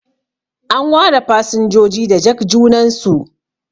an ware fasinjoji da jakjunansu